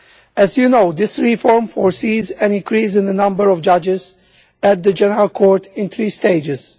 As you know, this reform foresees an increase in the number of judges at the General Court in three stages.